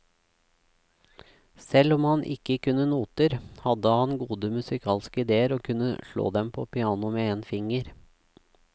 Selv om han ikke kunne noter, hadde han gode musikalske idéer og kunne slå dem på pianoet med en finger.